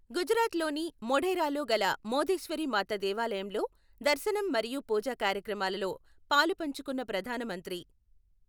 గుజరాత్ లోని మొఢేరాలో గల మొధేశ్వరి మాత దేవాలయంలో దర్శనం మరియు పూజా కార్యక్రమాల లో పాలుపంచుకొన్న ప్రధాన మంత్రి.